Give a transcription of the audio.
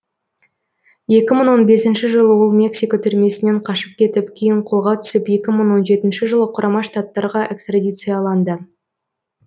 екі мың он бесінші жылы ол мексика түрмесінен қашып кетіп кейін қолға түсіп екі мың он жетінші жылы құрама штаттарға экстрадицияланды